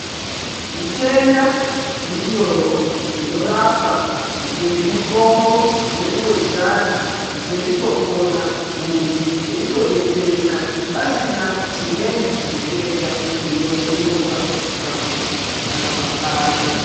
Zvitenda zviriyo wo zvinorapwa ngemutimbo wedu wechiantu muntu eitopona eitodetsereka pasina chimweni chitenda chinozonyuka pakurapwa kwake.